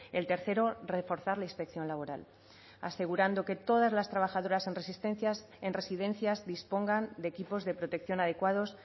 el tercero reforzar la inspección laboral asegurando que todas las trabajadoras en residencias dispongan de equipos de protección adecuados